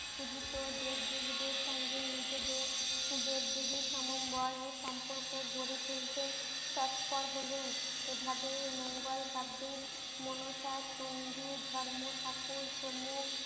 খুজিতো দেব দেবীদের সঙ্গে নিজেদের দেব দেবীর সমবায় ও সম্পর্ক গড়ে তুলতে তৎপর হলেন এভাবেই মঙ্গোল কাব্যের মনোস্বাদ চন্ডি ধর্ম ঠাকুর প্রমুখ